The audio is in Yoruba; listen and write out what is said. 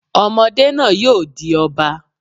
Ọmọdé náà yóò di Ọba.